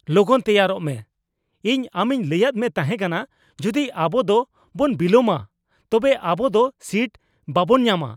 ᱞᱚᱜᱚᱱ ᱛᱮᱭᱟᱨᱚᱜ ᱢᱮ ! ᱤᱧ ᱟᱢᱤᱧ ᱞᱟᱹᱭᱟᱫ ᱢᱮ ᱛᱟᱦᱮᱸ ᱠᱟᱱᱟ ᱡᱩᱫᱤ ᱟᱵᱚ ᱫᱚ ᱵᱚᱱ ᱵᱤᱞᱚᱢᱟ ᱛᱚᱵᱮ ᱟᱵᱚ ᱫᱚ ᱥᱤᱴ ᱵᱟᱵᱚᱱ ᱧᱟᱢᱟ ᱾